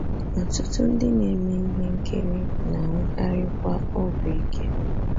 Ọtụtụ ndị na-eme ihe nkiri na-anwụkarikwa ọgwụ ike.